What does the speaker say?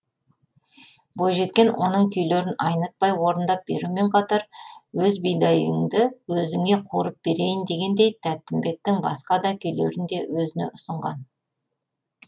бойжеткен оның күйлерін айнытпай орындап берумен қатар өз бидайыңды өзіңе қуырып берейін дегендей тәтімбеттің басқа да күйлерін де өзіне ұсынған